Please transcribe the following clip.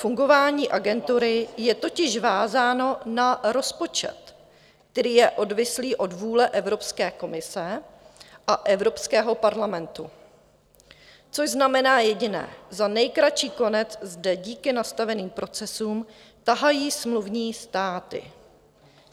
Fungování Agentury je totiž vázáno na rozpočet, který je odvislý od vůle Evropské komise a Evropského parlamentu, což znamená jediné - za nejkratší konec zde díky nastaveným procesům tahají smluvní státy.